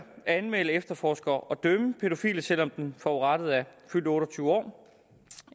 anmelde efterforske og dømme pædofile selv om den forurettede er fyldt otte og tyve år